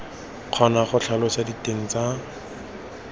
kgona go tlhalosa diteng tsa